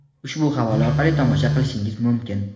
ushbu havola orqali tomosha qilishingiz mumkin.